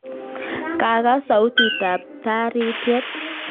Kakas sautit ab taritiet